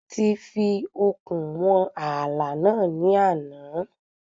A ti fi okùn wọn ààlà náà ní àná.